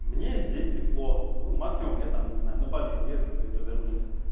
мне и здесь тепло ну максимум я там не знаю на бали съезжу и то вернусь